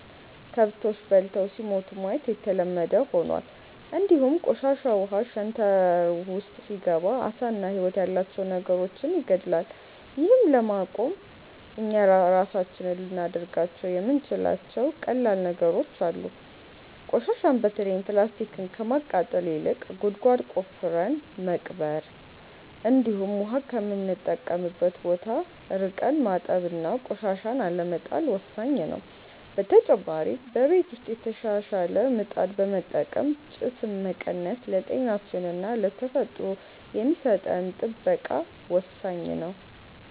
ከብቶች በልተው ሲሞቱ ማየት የተለመደ ሆኗል፣ እንዲሁም ቆሻሻ ውሃ ሸንተረር ውስጥ ሲገባ ዓሳና ህይወት ያላቸው ነገሮችን ይገድላል። ይህን ለማቆም እኛ ራሳችን ልናደርጋቸው የምንችላቸው ቀላል ነገሮች አሉ፤ ቆሻሻን በተለይም ፕላስቲክን ከማቃጠል ይልቅ ጉድጓድ ቆፍረን መቅበር፣ እንዲሁም ውሃ ከምንጠቀምበት ቦታ ርቀን ማጠብና ቆሻሻን አለመጣል ወሳኝ ነው። በተጨማሪ በቤት ውስጥ የተሻሻለ ምጣድ በመጠቀም ጭስን መቀነስ ለጤናችንና ለተፈጥሮ የሚሰጠን ጥበቃ ወሳኝ ነው።